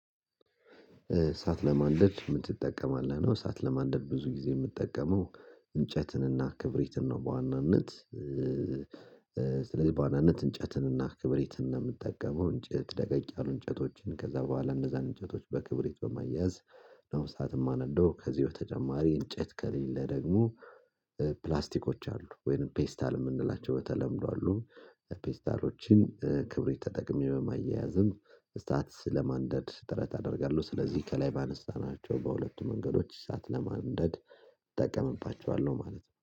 እሳት ለማንደድ ምን ትጠቀማለህ ነውደ እሳት ለማንደድ ብዙ ጊዜ የምትጠቀመው እንጨትንና ክብሪትን ነው በዋናነት ስለዚህ በዋናነት እንጨትንና ክብሪትን ነው የምትጠቀመው። እንጨት ደቀቅ ያሉ እንጨቶችን ከዛ በኋላ እነዛን እንጨቶች በክብሪት በማያያዝ ነው እሳት የማነደው ከዚህ በተጨማሪ እንጨት ከሌለ ደግሞ ፕላስቲኮች አሉ ወይንም ፔስታል የምንላቸው በተለምዶ አሉ ፒኤስታሎችን ክብሪት ተጠቅሜ በማያያዝም እሳት ስለማንደድ ጥረት አደርጋለሁ። ስለዚህ ከላይ ባነሳናቸው በሁለቱ መንገዶች ሰዓት ለማንደድ እጠቀምባቸዋለሁ ማለት ነው።